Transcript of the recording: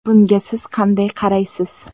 Bunga siz qanday qaraysiz?